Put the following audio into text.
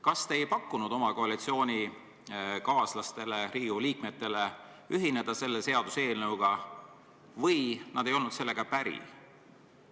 Kas te ei pakkunud oma koalitsioonikaaslastest Riigikogu liikmetele võimalust selle seaduseelnõuga ühineda või nad ei olnud sellega päri?